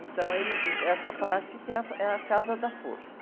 Então, ele diz, essa parte que é a, é a casa da força.